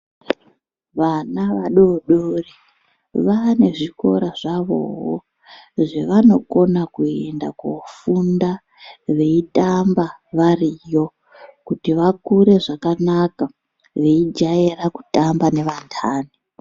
Vana vadodori vane zvikora zvavowo zvavanokona kuenda kofunda veitamba variyo kuti vakure zvakanaka veijaira kutamba nevandani.